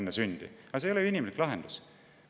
Aga see ei ole ju inimlik lahendus!